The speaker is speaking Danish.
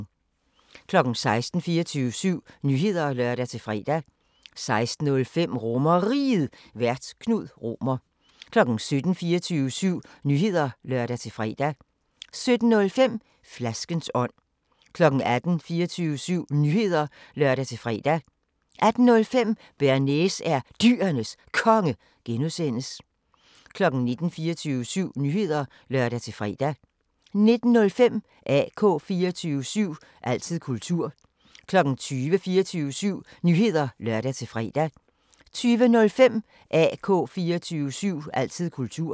16:00: 24syv Nyheder (lør-fre) 16:05: RomerRiget, Vært: Knud Romer 17:00: 24syv Nyheder (lør-fre) 17:05: Flaskens ånd 18:00: 24syv Nyheder (lør-fre) 18:05: Bearnaise er Dyrenes Konge (G) 19:00: 24syv Nyheder (lør-fre) 19:05: AK 24syv – altid kultur 20:00: 24syv Nyheder (lør-fre) 20:05: AK 24syv – altid kultur